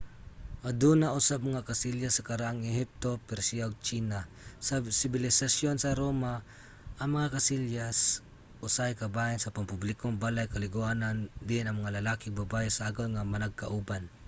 aduna usab mga kasilyas sa karaang ehipto persia ug tsina. sa sibilisasyon sa roma ang mga kasilyas usahay kabahin sa pampublikong balay-kaliguanan diin ang mga lalaki ug babaye sagol nga managkauban